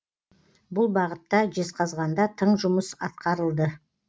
бұл бағытта жезқазғанда тың жұмыс атқарылды